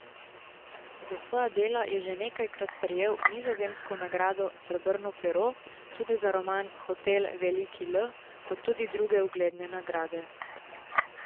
Za svoja dela je že nekajkrat prejel nizozemsko nagrado srebrno pero, tudi za roman Hotel Veliki L, kot tudi druge ugledne nagrade.